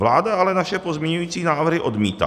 Vláda ale naše pozměňovací návrhy odmítá.